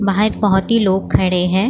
बाहर बहुत ही लोग खड़े हैं।